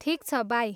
ठिक छ, बाई!